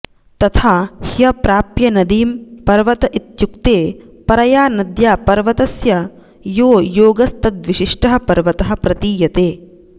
तथा ह्रप्राप्य नदीं पर्वत इत्युक्ते परया नद्या पर्वतस्य यो योगस्तद्विशिष्टः पर्वतः प्रतीयते